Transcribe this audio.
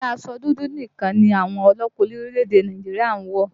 Ǹjẹ́ aṣọ dúdú nìkan ni àwọn ọlọ́pàá orílẹ̀èdè Nàìjíríà ń wọ̀?